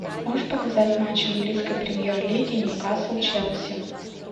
можешь показать матч английской премьер лиги ньюкасл челси